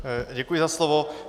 Děkuji za slovo.